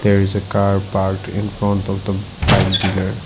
there is a car parked infront of the bike dealer.